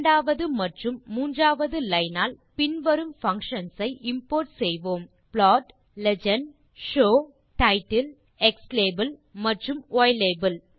இரண்டாவது மற்றும் மூன்றாவது லைன் ஆல் பின்வரும் பங்ஷன்ஸ் ஐ இம்போர்ட் செய்வோம் plot legend show title xlabel மற்றும் ylabel